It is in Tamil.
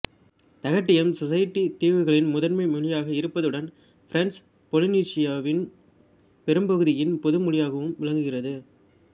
தகிட்டியம் சொசைட்டித் தீவுகளின் முதன்மை மொழியாக இருப்பதுடன் பிரெஞ்சுப் பொலினீசியாவின் பெரும் பகுதியின் பொது மொழியாகவும் விளங்குகிறது